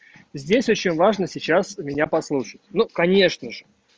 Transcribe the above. здесь очень важно сейчас меня послушать ну конечно же